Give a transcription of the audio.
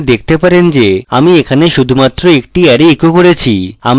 আপনি দেখতে পারেন যে আমি এখানে শুধুমাত্র একটি array echoed করেছি